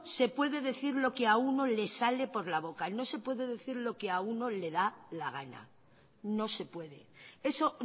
se puede decir lo que a uno le sale por la boca no se puede decir lo que a uno le da la gana no se puede eso